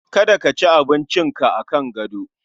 Kada ka ci abinci ka akan gado